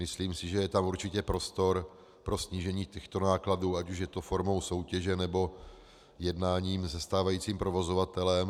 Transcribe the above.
Myslím si, že je tam určitě prostor pro snížení těchto nákladů, ať už je to formou soutěže, nebo jednáním se stávajícím provozovatelem.